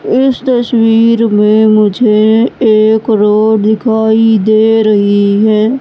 इस तस्वीर में मुझे एक रोड दिखाई दे रही है।